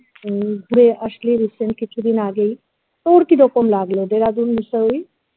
উম যে আসলি recent কিছুদিন আগেই তোর কিরকম লাগলো Dehradun বিষয়ে